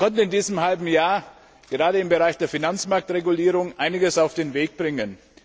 Wir konnten in diesem halben Jahr gerade im Bereich der Finanzmarktregulierung einiges auf den Weg bringen.